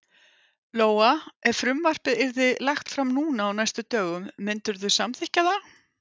Lóa: Ef frumvarpið yrði lagt fram núna á næstu dögum, myndirðu samþykkja það?